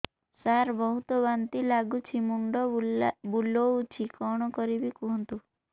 ସାର ବହୁତ ବାନ୍ତି ଲାଗୁଛି ମୁଣ୍ଡ ବୁଲୋଉଛି କଣ କରିବି କୁହନ୍ତୁ